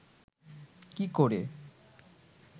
কী করে